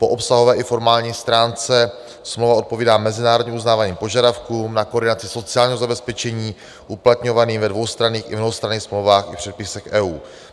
Po obsahové i formální stránce smlouva odpovídá mezinárodně uznávaným požadavkům na koordinaci sociálního zabezpečení uplatňovaným ve dvoustranných i mnohostranných smlouvách i předpisech EU.